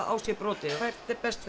á sér brotið hvert er best